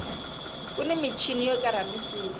kuni michini yo kera misisi